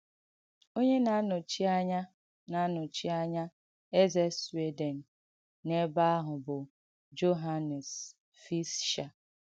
Onye na-ànọ́chi ànyà na-ànọ́chi ànyà èzē Sweden n’ebe àhụ̀ bụ̀ Johànnes Fìschēr.